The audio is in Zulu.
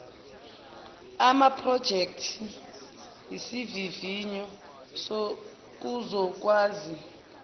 amaphrojekthi izivivinyo kuzokwazi